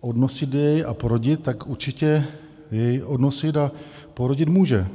odnosit jej a porodit, tak určitě jej odnosit a porodit může.